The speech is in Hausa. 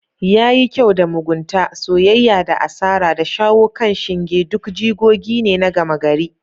Yayi kyau da. mugunta, soyayya da asara, da shawo kan shinge duk jigogi ne na gama gari.